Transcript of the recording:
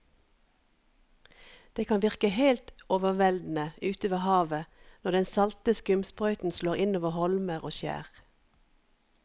Det kan virke helt overveldende ute ved havet når den salte skumsprøyten slår innover holmer og skjær.